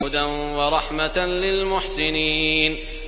هُدًى وَرَحْمَةً لِّلْمُحْسِنِينَ